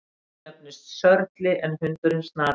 Hesturinn nefnist Sörli en hundurinn Snati.